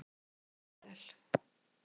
Ég skil það líka vel.